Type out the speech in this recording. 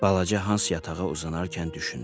Balaca Hans yatağa uzanarkən düşündü.